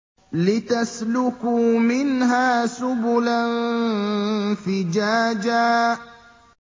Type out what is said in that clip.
لِّتَسْلُكُوا مِنْهَا سُبُلًا فِجَاجًا